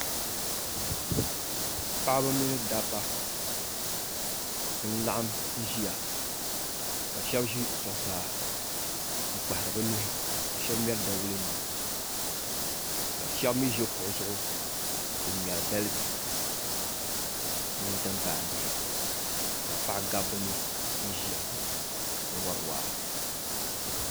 Paɣiba mini dabba n-laɣim ʒiya ka shɛba ʒi zuɣusaa n-kpahiri bɛ nuhi ka shɛba ŋmɛri dawulenima ka shɛba mi ʒi kuɣa zuɣu n-ŋmɛri dal' bihi mini timpan' bihi ka gabi bɛ ni n-ʒiya wari waa